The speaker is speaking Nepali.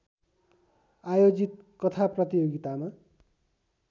आयोजित कथा प्रतियोगितामा